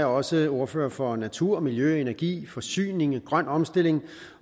også ordfører for natur miljø energi forsyning og grøn omstilling